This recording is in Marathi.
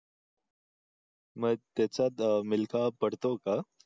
म्हणजे त्याच्यात अह मिल्खा पडतो का?